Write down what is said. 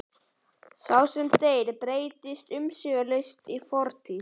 Sá sem deyr breytist umsvifalaust í fortíð.